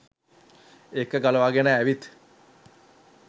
එක ගලවාගෙන ඇවිත්